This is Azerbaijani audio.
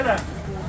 Bura gəl.